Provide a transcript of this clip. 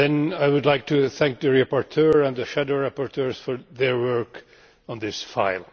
I would like to thank the rapporteur and the shadow rapporteurs for their work on this file.